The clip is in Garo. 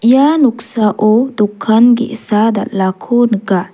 ia noksao dokan ge·sa dal·ako nika.